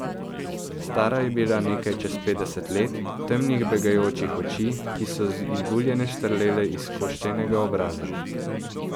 Stara je bila nekaj čez petdeset let, temnih begajočih oči, ki so izbuljene štrlele iz koščenega obraza.